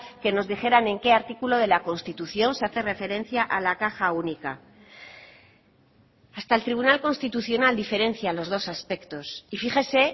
que nos dijeran en qué artículo de la constitución se hace referencia a la caja única hasta el tribunal constitucional diferencia los dos aspectos y fíjese